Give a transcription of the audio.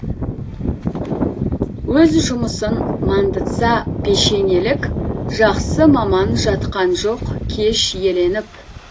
өз жұмысын мандытса пешенелік жақсы маман жатқан жоқ кеш еленіп